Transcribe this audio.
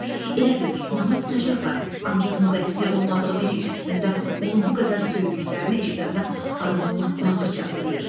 Elədir, tutmağına tutacaqlar, ancaq müqəssir olmadığı bir iş üstündə onu bu qədər söydüklərini eşidəndə adamın lap bağrı çatlayır.